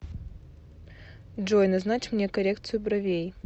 джой назначь мне коррекцию бровей